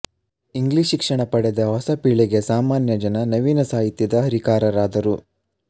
English ಶಿಕ್ಷಣ ಪಡೆದ ಹೊಸ ಪೀಳಿಗೆಯ ಸಾಮಾನ್ಯ ಜನ ನವೀನ ಸಾಹಿತ್ಯದ ಹರಿಕಾರರಾದರು